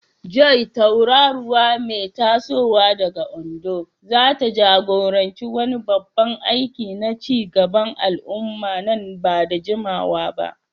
Joy, tauraruwa mai tasowa daga Ondo, zata jagoranci wani babban aiki na ci gaban al'umma ba da jimawa ba.